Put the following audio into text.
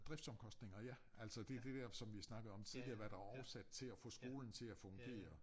Driftsomkostninger ja altså det dét der som vi snakkede om tidligere hvad der er årsag til at få skolen til at fungere